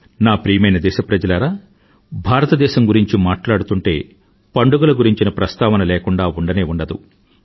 నా ప్రియమైన దేశప్రజలారా భారతదేశం గురించి మాట్లాడుతూంటే పండుగల గురించిన ప్రస్తావన లేకుండా ఉండనే ఉండదు